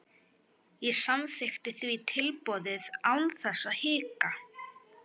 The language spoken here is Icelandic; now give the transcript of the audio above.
Ég samþykkti því tilboðið án þess að hika.